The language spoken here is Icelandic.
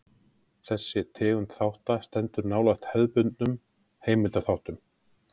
Þessi tegund þátta stendur nálægt hefðbundnum heimildaþáttum.